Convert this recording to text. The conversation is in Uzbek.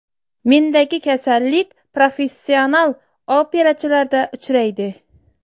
Mendagi kasallik professional operachilarda uchraydi.